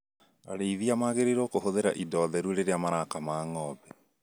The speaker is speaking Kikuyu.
Arĩithia magĩrĩirwo kũhũthĩra indo theru rĩrĩa marakama ng'ombe